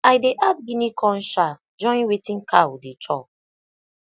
i dey add guinea corn chaff join wetin cow dey chop